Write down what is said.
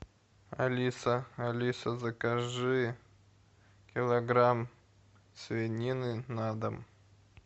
алиса алиса закажи килограмм свинины на дом